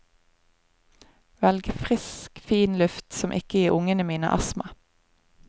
Velge frisk, fin luft som ikke gir ungene mine astma.